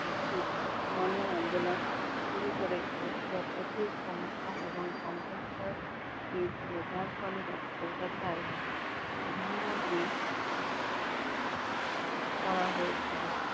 একটি গনআন্দলন শুরু করেছিলেন যার প্রতি সমর্থন এবং অন্তস্তয় পেয়েছিল যার ফলে তাকে কলকাতায় গৃহবন্দী করা হয়েছিল।